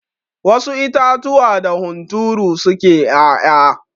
Wasu itatuwa da hunturu suke 'ya'ya.